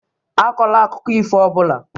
Akọla akụkọ ifo ọ bụla!